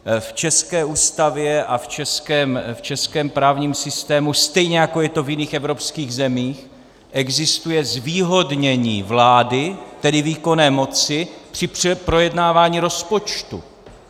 V české Ústavě a v českém právním systému, stejně jako je to v jiných evropských zemích, existuje zvýhodnění vlády, tedy výkonné moci při projednávání rozpočtu.